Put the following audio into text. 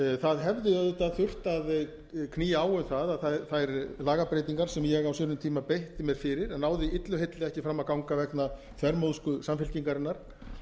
það hefði auðvitað þurft að knýja á um það að þær lagabreytingar sem ég á sínum tíma beitti mér fyrir en náðu illu heilli ekki fram að ganga vegna þvermóðsku samfylkingarinnar